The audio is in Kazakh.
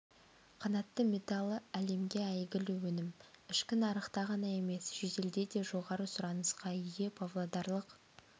қанатты металлы әлемге әйгілі өнім ішкі нарықта ғана емес шетелде де жоғары сұранысқа ие павлодарлық